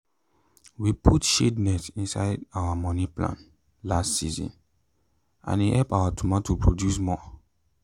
we put shade net inside our money plan last season and e help our tomato produce more.